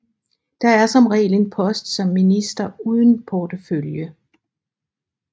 Der er som regel en post som minister uden portefølje